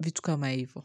vitu kama hivo.